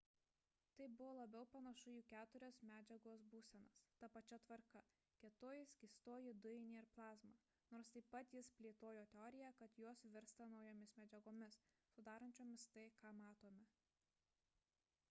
tai buvo labiau panašu į keturias medžiagos būsenas ta pačia tvarka: kietoji skystoji dujinė ir plazma nors taip pat jis plėtojo teoriją kad jos virsta naujomis medžiagomis sudarančiomis tai ką matome